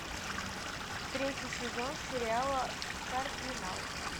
третий сезон сериала кардинал